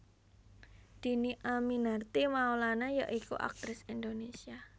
Dhini Aminarti Maulana ya iku aktris Indonésia